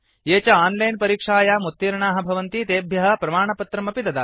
ये च आन्लैन् परीक्षायाम् उत्तीर्णाः भवन्ति तेभ्यः प्रमाणपत्रम् अपि ददाति